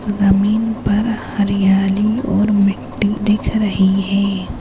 जमीन पर हरियाली और मिट्ठी दिख रही है।